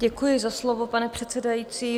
Děkuji za slovo, pane předsedající.